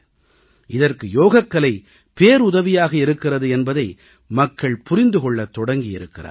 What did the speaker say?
இதற்கு யோகக்கலை பேருதவியாக இருக்கிறது என்பதை மக்கள் புரிந்து கொள்ளத் தொடங்கியிருக்கிறார்கள்